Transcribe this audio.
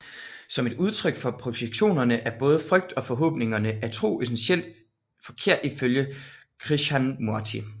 Som et udtryk for projektioner af både frygt og forhåbninger er tro essentielt forkert ifølge Krishnamurti